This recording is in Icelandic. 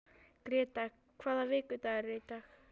Gréta, hvaða vikudagur er í dag?